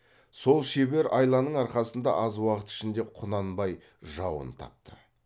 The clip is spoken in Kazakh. сол шебер айланың арқасында аз уақыт ішінде құнанбай жауын тапты